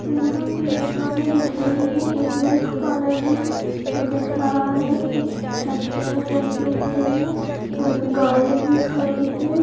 यहाँँ कुछ दुकानें दिख रही हैं। एक मिल्क पार्लर भी दिख रहा है। कुछ छतरियें लगी हुए हैं। एक गाड़ी भी खड़ी है।